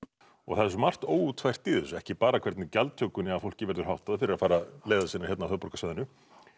og það er svo margt óútfært í þessu ekki bara hvernig gjaldtökunni af fólki verður háttað fyrir að fara leiðar sinnar hérna á höfuðborgarsvæðinu